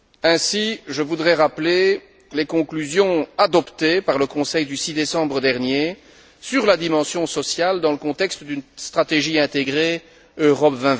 Ainsi, je voudrais rappeler les conclusions adoptées par le Conseil le 6 décembre dernier sur la dimension sociale dans le contexte d'une stratégie intégrée Europe